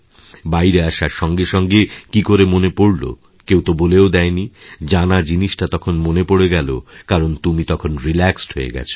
বাইরে আসার সঙ্গে সঙ্গে কী করে মনেপড়ল কেউ তো বলেও দেয়নি জানা জিনিসটা তখন মনে পড়ে গেল কারণ তুমি তখন রিল্যাক্সডহয়ে গেছ